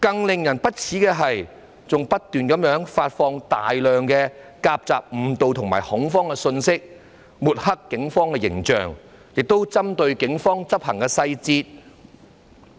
令人更為不齒的是，有人還不斷發放大量誤導和造成恐慌的信息，抹黑警方形象，並針對警方的執法細節。